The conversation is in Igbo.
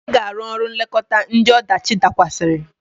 Ị ga-arụ ọrụ nlekọta ndị ọdachi dakwasịrị!